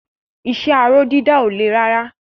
Iṣẹ́ aró dídà ò le rárá.